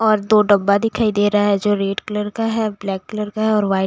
और दो डब्बा दिखाई दे रहा है जो रेड कलर का है ब्लैक कलर का है और वाइट --